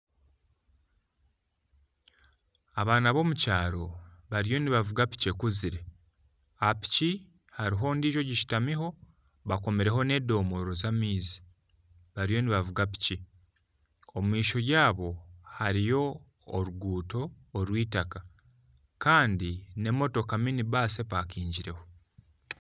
Abaana b'omukyaro bariyo nibavuga piki ekuzire aha piki hariho ondiijo ogishutamiho bakomireho nedoomora z'amaizi bariyo nibavuga piki omu maisho gaabo hariyo oruguuto orwitaka Kandi nemotoka mini baasi epakingireho